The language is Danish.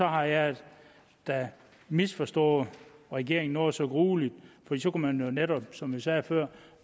har jeg da misforstået regeringen noget så grueligt for så kunne man jo netop som jeg sagde før